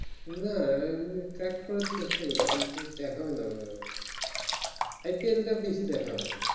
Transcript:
না এমনি track করার চেষ্টা করি কিন্তু দেখা হয় না IPL বেশি দেখা হয়